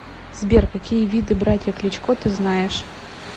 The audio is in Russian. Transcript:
сбер какие виды братья кличко ты знаешь